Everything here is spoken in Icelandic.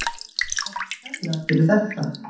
Takk kærlega fyrir þetta.